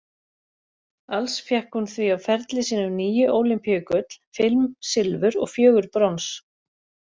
Alls fékk hún því á ferli sínum níu ólympíugull, fimm silfur og fjögur brons.